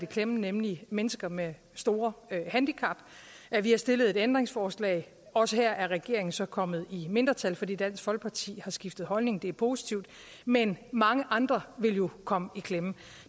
klemme nemlig mennesker med store handicap vi har stillet ændringsforslag og også der er regeringen så kommet i mindretal fordi dansk folkeparti har skiftet holdning hvilket er positivt men mange andre vil jo komme i klemme